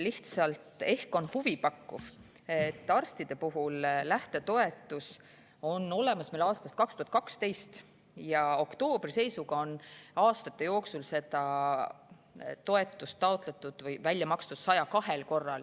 Ehk pakub huvi, et arstide lähtetoetus on meil olemas aastast 2012 ja oktoobri seisuga oli aastate jooksul seda toetust taotletud või välja makstud 102 korral.